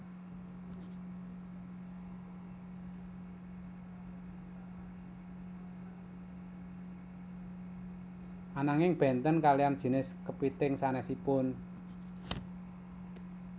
Ananging bénten kaliyan jinis kepithing sanésipun